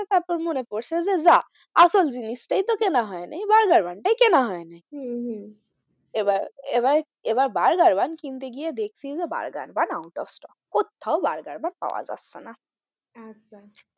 তারপর মনে পড়ছে যে যা আসল জিনিস টাই তো কেনা হয় নি বার্গার bun টাই কেনা হয় নি হম হম এবার এবার বার্গার bun কিনতে গিয়ে দেখছি যে burger bun out of stock কোত্থাও বার্গার bun পাওয়া যাচ্ছে না আচ্ছা।